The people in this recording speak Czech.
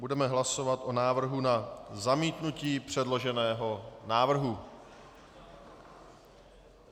Budeme hlasovat o návrhu na zamítnutí předloženého návrhu.